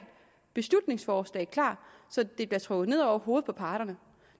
beslutningsforslag klar så det bliver trukket ned over hovedet på parterne